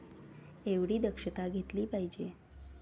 एवढी दक्षता घेतली पाहिजे.